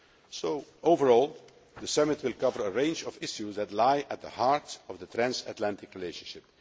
Iran. So overall, the summit will cover a range of issues that lie at the heart of the transatlantic relationship.